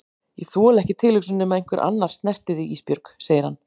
Ég þoli ekki tilhugsunina um að einhver annar snerti þig Ísbjörg, segir hann.